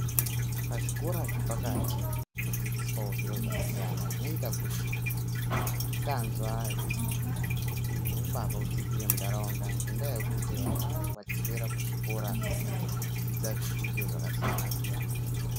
Pazvikora zvepakati kunodzidziswawo zvakasiyana zvinoita kuti misikanzwa idzikire neumbavha udzikire mundaraunda ngendaya yekuti vana vanenge vachiswera kuzvikora veidzidza zvidzidzo zvakasiyana siyana